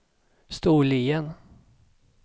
Storlien